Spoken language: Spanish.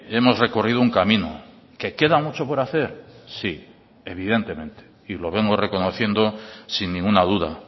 hemos recorrido un camino que queda mucho por hacer sí evidentemente y lo vengo reconociendo sin ninguna duda